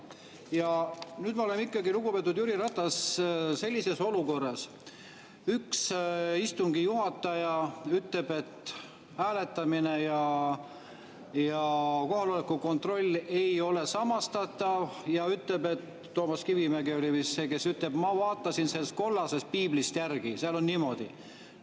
Ja nüüd me oleme ikkagi, lugupeetud Jüri Ratas, sellises olukorras: üks istungi juhataja ütleb, et hääletamine ja kohaloleku kontroll ei ole samastatav, ja ütleb – Toomas Kivimägi oli vist see, kes ütles –, et ma vaatasin kollasest piiblist järgi, seal on niimoodi.